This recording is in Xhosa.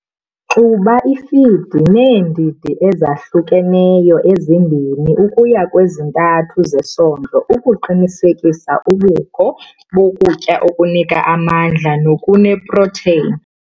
Xuba ifidi neendidi ezahlukeneyo ezi-2 ukuya kwezi-3 zesondlo ukuqinisekisa ubukho bokutya okunika amandla nokuneeproteyin.